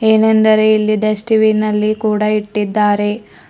ಏನೆಂದರೆ ಇಲ್ಲಿ ಡಸ್ಟ್ಬಿನ್ ನಲ್ಲಿ ಕೂಡ ಇಟ್ಟಿದ್ದಾರೆ.